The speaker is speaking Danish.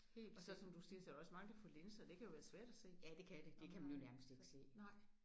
Og så som du siger så er der også mange der får linser det kan jo være svært at se om man har så nej